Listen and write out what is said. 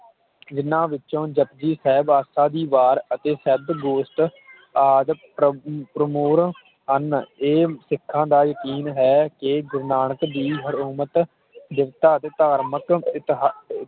ਜਿਨ੍ਹਾਂ ਵਿੱਚੋ ਜਪੁਜੀ ਸਾਹਿਬ ਆਸਾ ਦੀ ਵਾਰ ਅਤੇ ਸਤਿਗੁਰਤ ਆਦਿ ਪ੍ਰ ਪ੍ਰਮੁਰ ਹਨ ਇਹ ਸਿੱਖਾਂ ਦਾ ਯਕੀਨ ਹੈ ਕਿ ਗੁਰੂ ਨਾਨਕ ਦੀ ਹਰਨੋਮਤ ਦਿੱਤੋ ਤੇ ਧਾਰਮਿਕ ਇਕ ਹੈ